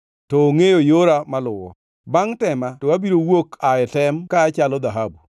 To ongʼeyo yora maluwo; bangʼ tema to abiro wuok aa e tem ka achalo dhahabu.